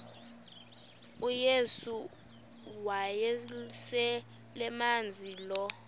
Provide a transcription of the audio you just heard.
uyesu wayeselemazi lo